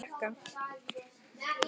Svo var farið að drekka.